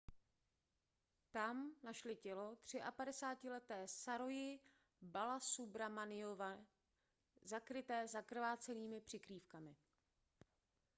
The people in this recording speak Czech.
tam našli tělo třiapadesátileté saroji balasubramanianové zakryté zakrvácenými přikrývkami